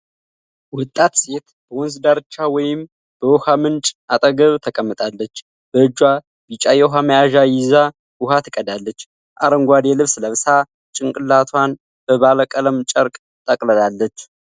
ወጣት ሴት በወንዝ ዳርቻ ወይም በውኃ ምንጭ አጠገብ ተቀምጣለች። በእጇ ቢጫ የውኃ መያዣ ይዛ ውሃ ትቀዳለች። አረንጓዴ ልብስ ለብሳ፣ ጭንቅላቷን በባለቀለም ጨርቅ ተጠቅልላለች።